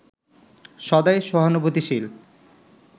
সদাই সহানুভূতিশীল